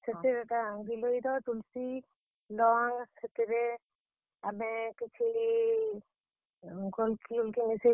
ସେଥିରେ ଏକା ଗିଲୋଇର, ତୁଲସି।